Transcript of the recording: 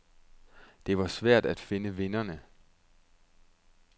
Det var svært at finde vinderne.